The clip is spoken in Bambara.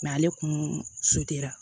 ale kun ra